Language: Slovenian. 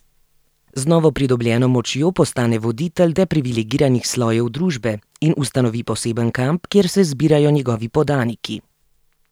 Z novopridobljeno močjo postane voditelj depriviligiranih slojev družbe in ustanovi poseben kamp, kjer se zbirajo njegovi podaniki.